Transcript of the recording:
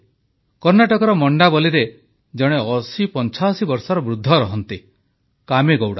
କର୍ଣ୍ଣାଟକର ମଣ୍ଡାବଲିରେ ଜଣେ 8085 ବର୍ଷର ବୃଦ୍ଧ ରହନ୍ତି କାମେଗୌଡ଼ା